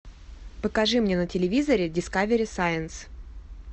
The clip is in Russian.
покажи мне на телевизоре дискавери сайнс